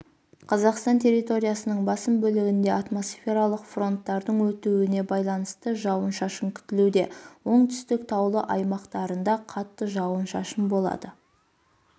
қазақстан территориясының басым бөлігінде атмосфералық фронттардың өтуіне байланысты жауын-шашын күтіледі оңтүстіктің таулы аймақтарында қатты жауын-шашын болады